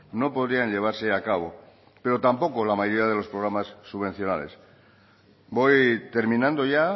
no podrían llevarse a cabo pero tampoco la mayoría de los programas subvencionales voy terminando ya